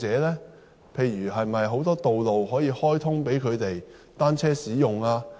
例如可否開通更多道路予單車使用？